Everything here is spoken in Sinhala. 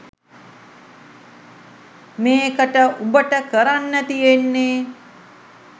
මේකට උඹට කරන්න තියෙන්නේ